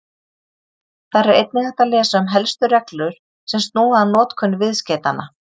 Þar er einnig hægt að lesa um helstu reglur sem snúa að notkun viðskeytanna.